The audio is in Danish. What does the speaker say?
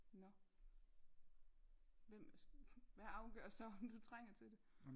Nå hvem hvad afgør så om du trænger til det